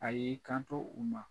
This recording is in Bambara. A y'i kanto u ma